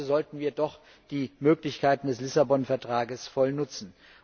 Also sollten wir doch die Möglichkeiten des Lissabon Vertrags voll nutzen.